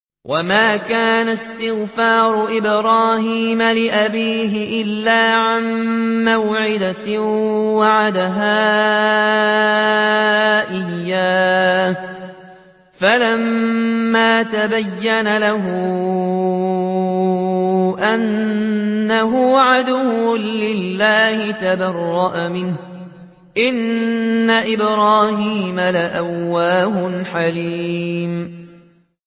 وَمَا كَانَ اسْتِغْفَارُ إِبْرَاهِيمَ لِأَبِيهِ إِلَّا عَن مَّوْعِدَةٍ وَعَدَهَا إِيَّاهُ فَلَمَّا تَبَيَّنَ لَهُ أَنَّهُ عَدُوٌّ لِّلَّهِ تَبَرَّأَ مِنْهُ ۚ إِنَّ إِبْرَاهِيمَ لَأَوَّاهٌ حَلِيمٌ